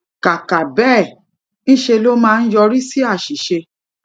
kàkà béè ńṣe ló máa ń yọrí sí àṣìṣe